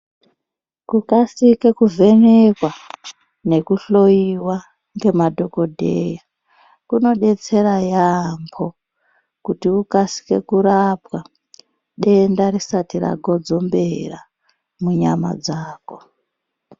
Kukasike kuvhenekwa nekuhloyiwa ngemadhogodheya kunodetsera yaamho kuti ukasike kurapwa denda risati ragodzongera munyama dzako.